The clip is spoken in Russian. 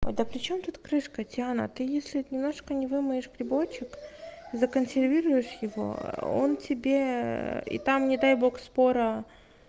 ой да причём тут крышка теана ты если немножко не вымоешь приборчик законсервируешь его он тебе и там не дай бог спора